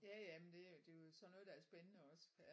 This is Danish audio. Ja ja men det er det er jo sådan noget der er spændende også ja